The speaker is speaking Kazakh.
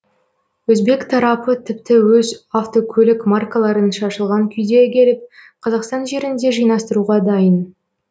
өзбек тарапы тіпті өз автокөлік маркаларын шашылған күйде әкеліп қазақстан жерінде жинастыруға дайын